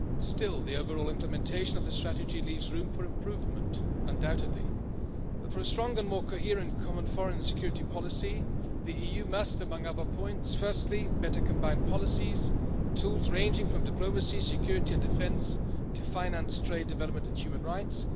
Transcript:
Still, the overall implementation of the strategy leaves room for improvement undoubtedly, but for a stronger and more coherent common foreign and security policy, the EU must among other points firstly better combine policies and tools ranging from diplomacy, security and defence, to finance, trade development and human rights.